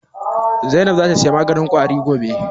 Zainab za ta saya maganin Ƙwari gobe?